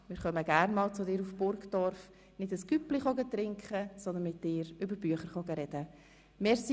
Wir kommen gerne einmal zu dir nach Burgdorf – nicht um ein Cüpli zu trinken, sondern, um mit dir über Bücher zu sprechen.